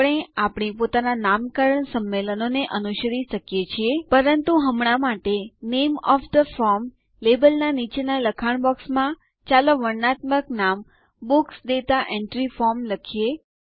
આપણે આપણી પોતાના નામકરણ સંમેલનોને અનુસરી શકીએ છીએ પરંતુ હમણાં માટે નામે ઓએફ થે ફોર્મ લેબલના નીચેના લખાણ બોક્સમાં ચાલો વર્ણનાત્મક નામ બુક્સ દાતા એન્ટ્રી ફોર્મ લખીએ